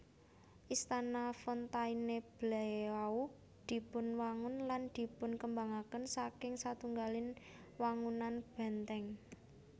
Istana Fontainebleau dipunwangun lan dipunkembangaken saking satunggaling wangunan bèntèng